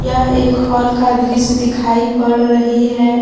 यह एक हॉल का दृश्य दिखाई पड़ रही है।